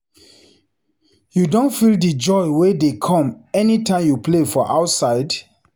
You don feel di joy wey dey come any time you dey play for outside?